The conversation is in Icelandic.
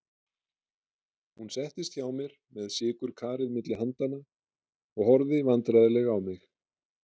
Hún settist hjá mér með sykurkarið milli handanna og horfði vandræðaleg á mig.